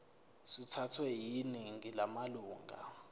sithathwe yiningi lamalunga